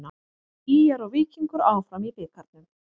ÍR og Víkingur áfram í bikarnum